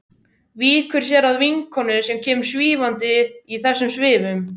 Víkur sér að vinkonu sem kemur svífandi í þessum svifum.